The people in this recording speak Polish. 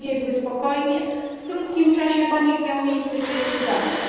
przebiegły spokojnie, w krótkim czasie po nich miał miejsce pierwszy zamach.